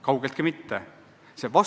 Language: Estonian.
Kaugeltki mitte!